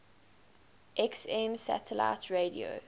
xm satellite radio